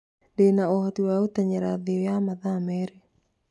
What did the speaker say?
Ndĩna ũhoti wa gũteng'era thĩ ya mathaa merĩ